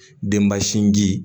Denba sinji